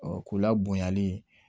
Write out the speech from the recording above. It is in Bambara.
Ɔ k'u la bonyali